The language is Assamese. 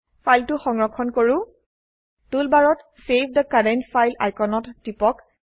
ফাইলটো সংৰক্ষণ কৰো টুলবাৰত চেভ থে কাৰেণ্ট ফাইল আইকনত টিপক